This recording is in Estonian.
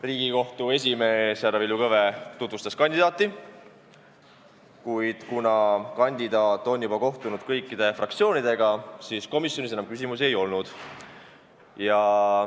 Riigikohtu esimees härra Villu Kõve tutvustas kandidaati ja kuna kandidaat on juba kohtunud kõikide fraktsioonidega, siis komisjonis enam küsimusi ei olnud.